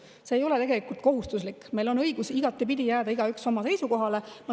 See ei ole kohustuslik, meil on õigus igatepidi jääda igaüks oma seisukohale.